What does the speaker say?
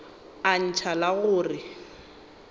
a ntšha la go re